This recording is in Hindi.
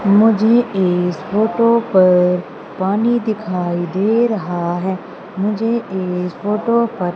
मुझे इस फोटो पर पानी दिखाई दे रहा है मुझे इस फोटो पर--